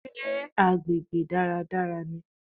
Sé agbègbè dáradára ni?